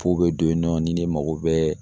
Pow be don yen nɔ ni ne mago bɛ